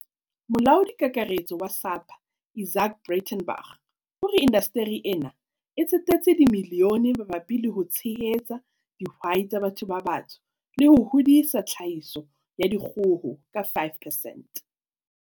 Molaodi Kakaretso wa SAPA Izaak Breitenbach o re inda steri ena e tsetetse dimilione mabapi le ho tshehetsa di hwai tsa batho ba batsho le ho hodisa tlhahiso ya dikgo ho ka 5 percent.